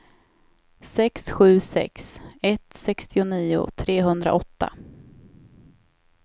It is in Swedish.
sex sju sex ett sextionio trehundraåtta